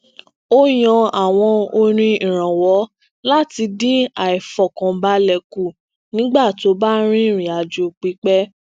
ó yan àwọn orin irọwọ lati din aifọkanbalẹ ku nigba to ba n ririn ajo pipẹ